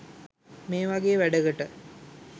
මේ වගේ වැඩකට